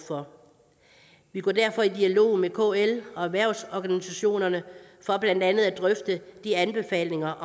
for vi går derfor i dialog med kl og erhvervsorganisationerne for blandt andet at drøfte de anbefalinger